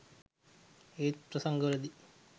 ඒත් ප්‍රසංගවලදී